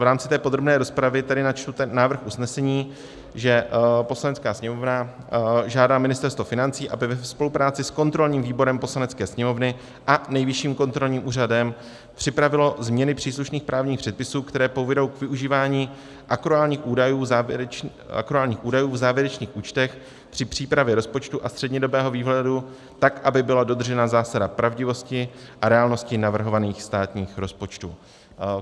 V rámci té podrobné rozpravy tedy načtu ten návrh usnesení, že Poslanecká sněmovna žádá Ministerstvo financí, aby ve spolupráci s kontrolním výborem Poslanecké sněmovny a Nejvyšším kontrolním úřadem připravilo změny příslušných právních předpisů, které povedou k využívání akruálních údajů v závěrečných účtech při přípravě rozpočtu a střednědobého výhledu tak, aby byla dodržena zásada pravdivosti a reálnosti navrhovaných státních rozpočtů.